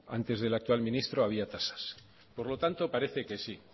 antes del actual ministro había tasas por lo tanto parece que sí